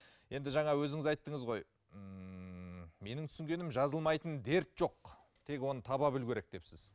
енді жаңа өзіңіз айттыңыз ғой ммм менің түсінгенім жазылмайтын дерт жоқ тек оны таба білу керек депсіз